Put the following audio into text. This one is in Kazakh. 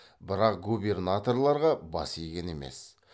бірақ губернаторларға бас иген емес